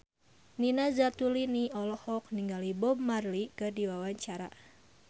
Nina Zatulini olohok ningali Bob Marley keur diwawancara